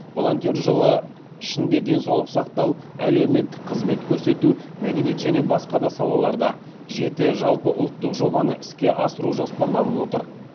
волонтер жылы ішінде денсаулық сақтау әлеуметтік қызмет көрсету мәдениет және басқа да салаларда жеті жалпыұлттық жобаны іске асыру жоспарланып отыр